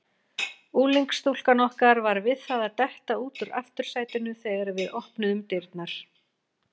Unglingsstúlkan okkar var við það að detta út úr aftursætinu þegar við opnuðum dyrnar.